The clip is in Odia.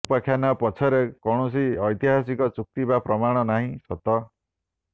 ଏହି ଉପାଖ୍ୟାନ ପଛରେ କୈାଣସି ଐତିହାସିକ ଯୁକ୍ତି ବା ପ୍ରମାଣ ନାହିଁ ସତ